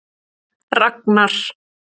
Ragnar